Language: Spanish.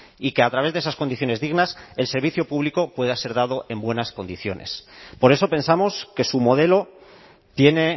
y que a través de esas condiciones dignas el servicio público pueda ser dado en buenas condiciones por eso pensamos que su modelo tiene